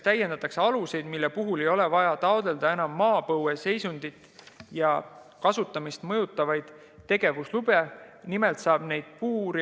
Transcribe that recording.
Täiendatakse aluseid, mis puhul ei ole vaja enam taotleda maapõue seisundit ja kasutamist mõjutava tegevuslube.